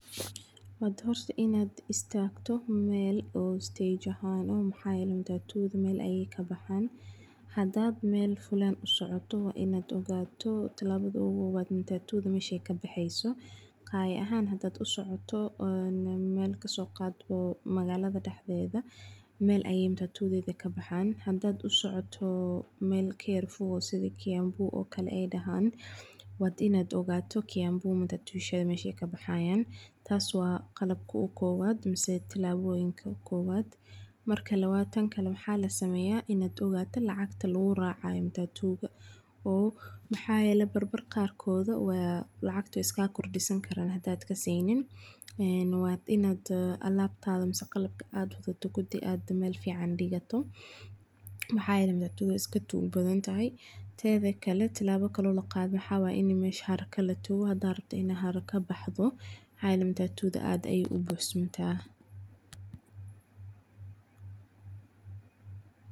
Wada horta inad istagtoh mal oo istage ah maxa yale matatuda mal ayay ka baxana, hada mal fulan usocotoh in ogtoh tilabada ogu hore matatuda masha ka baxaysoh qaya ahan hadii usocto ah mal ka soqadbo magalada daxdada mal ayay matatuda ka baxan hada usoctoh mal ka yar fog isda keyanbu okle ay dahan wad ina ogtah keyanbu matatudsha mashay ka baxayan taasi oo wa qalbka ogu giwad masah tilaboyinka kuwad marka lawad taan kle wax la samaya ina ogtoh lacagta lagu racayo matatuda maxa yela mar mar qarkoda lacagta way kaga gordisani karan hadad ka saynin wad ina aqaltada masah qalabka adawatid kudi ad mal fican digtoh, maxa yale matatuda way iska tug baadantahay tadi kle labkale maxa waya ina masha xarka la tago hada rabtoh ina xarka matatud aad aya ubuxsantah.